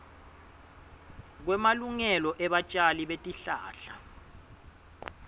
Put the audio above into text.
kwemalungelo ebatjali betihlahla